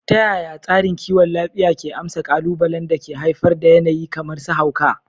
Ta yaya tsarin kiwon lafiya ke amsa ƙalubalen da ke haifar da yanayi kamar su hauka?